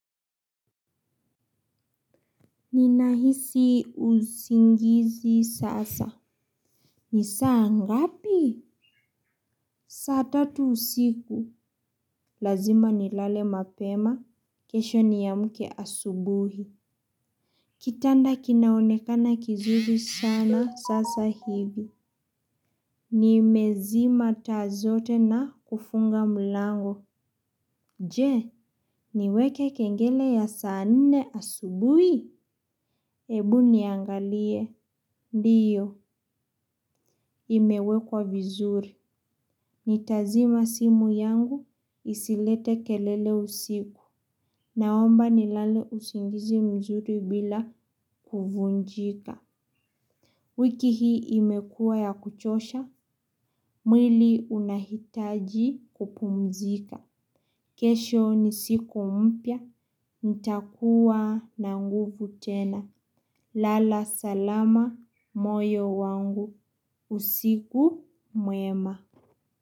Ninahisi usingizi sasa. Ni saa ngapi? Saa tatu usiku. Lazima nilale mapema. Kesho niamke asubuhi. Kitanda kinaonekana kizurii sana sasa hivi. Nimezima taa zote na kufunga mlango. Je, niweke kengele ya saa nne asubuhi? Ebu niangalie. Ndiyo, imewekwa vizuri. Nitazima simu yangu, isilete kelele usiku. Naomba nilale usingizi mzuri bila kuvunjika. Wiki hii imekuwa ya kuchosha, mwili unahitaji kupumzika. Kesho ni siku mpya, nitakuwa na nguvu tena. Lala salama moyo wangu, usiku mwema.